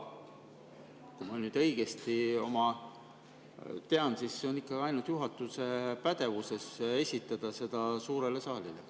Kui ma nüüd õigesti tean, siis on ikkagi ainult juhatuse pädevuses esitada see saalile.